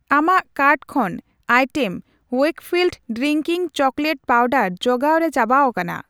ᱟᱢᱟᱜ ᱠᱟᱨᱴ ᱠᱷᱚᱱ item Wakefield drinking chocolate powder ᱡᱚᱜᱟᱣ ᱨᱮ ᱪᱟᱵᱟᱣᱟᱠᱟᱱᱟ ᱾